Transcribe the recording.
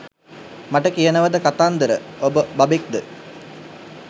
මට කියනවද කතාන්දර ඔබ බබෙක් ද?